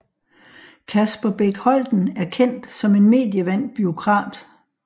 Kasper Bech Holten er kendt som en medievandt bureaukrat